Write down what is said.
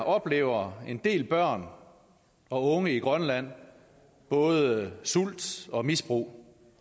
oplever en del børn og unge i grønland både sult og misbrug